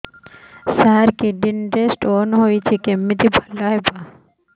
ସାର kidney ରେ stone ହେଇଛି କମିତି ଭଲ ହେବ